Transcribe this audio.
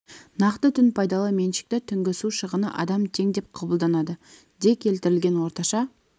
нақты түн пайдалы меншікті түнгі су шығыны адам тең деп қабылданады де келтірілген орташа